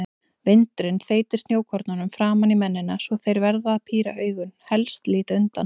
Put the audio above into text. Vindurinn þeytir snjókornum framan í mennina svo þeir verða að píra augun, helst líta undan.